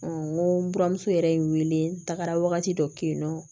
n ko n buramuso yɛrɛ n wele n tagara wagati dɔ kɛ yen nɔ